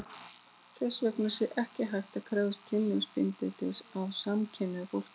Þess vegna sé ekki hægt að krefjast kynlífsbindindis af samkynhneigðu fólki.